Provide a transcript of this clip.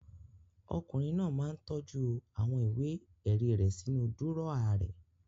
Ọkùnrin náà máa ń tọ́jú àwọn ìwé-ẹ̀rí rẹ̀ sínú dúrọ́à rẹ̀.